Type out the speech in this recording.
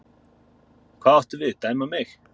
Hvað áttu við, dæma mig?